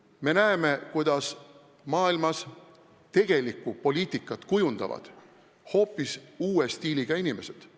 Me näeme, kuidas maailmas tegelikku poliitikat kujundavad hoopis uue stiiliga inimesed.